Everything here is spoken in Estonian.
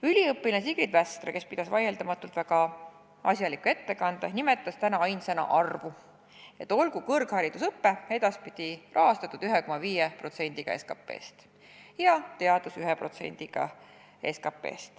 Üliõpilane Sigrid Västra, kes pidas vaieldamatult väga asjaliku ettekande, nimetas täna ainsana arvu: olgu kõrgharidusõpe edaspidi rahastatud 1,5% SKP-st ja teadus 1% SKP-st.